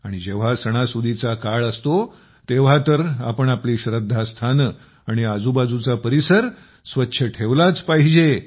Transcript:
आणि जेव्हा सणासुदीचा काळ असतो तेव्हा तर आपण आपली श्रद्धास्थानं आणि आजूबाजूचा परिसर स्वच्छ ठेवलाच पाहिजे